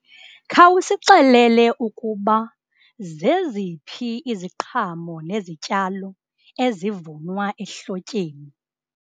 Khawusixelele ukuba zeziphi iziqhamo nezityalo ezivunwa ehlotyeni.